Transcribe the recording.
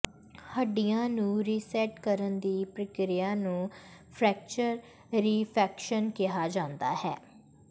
ਹੱਡੀਆਂ ਨੂੰ ਰੀਸੈਟ ਕਰਨ ਦੀ ਪ੍ਰਕਿਰਿਆ ਨੂੰ ਫ੍ਰੈਕਚਰ ਰਿਫੈਕਸ਼ਨ ਕਿਹਾ ਜਾਂਦਾ ਹੈ